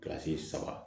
Kilasi saba